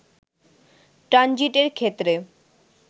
ট্রানজিটের ক্ষেত্রে